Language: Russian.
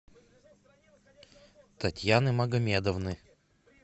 татьяны магомедовны